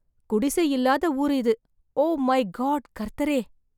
குடிசை இல்லாத ஊரு இது! ஓ மை காடு கர்த்தரே